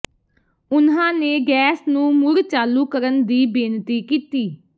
ਉਨ੍ਹਾਂ ਨੇ ਗੈਸ ਨੂੰ ਮੁੜ ਚਾਲੂ ਕਰਨ ਦੀ ਬੇਨਤੀ ਕੀਤੀ